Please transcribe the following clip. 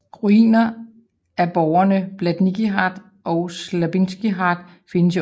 Ruinerne af borgene Blatnický hrad og Sklabinský hrad findes i området